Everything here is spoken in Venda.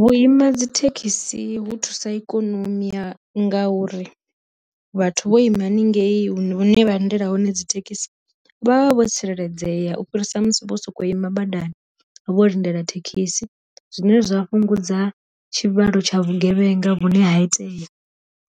Vhuima dzi thekhisi hu thusa ikonomi ya ngauri, vhathu vho ima haningei hu ne vha lindela hone dzi thekhisi vhavha vho tsireledzea u fhirisa musi vho soko ima badani vho lindela thekhisi, zwine zwa fhungudza tshi vhalo tsha vhu gevhenga vhune ha itea